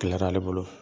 Gɛlɛyara ale bolo